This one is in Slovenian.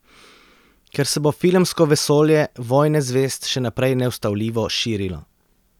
Ker se bo filmsko vesolje Vojne zvezd še naprej neustavljivo širilo.